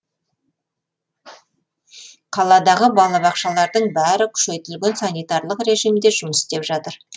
қаладағы балабақшалардың бәрі күшейтілген санитарлық режимде жұмыс істеп жатыр